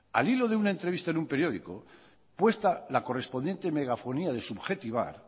al hilo de una entrevista en el periódico puesta la correspondiente megafonía de subjetivar